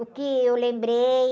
O que eu lembrei...